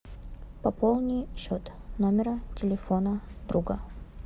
пополни счет номера телефона друга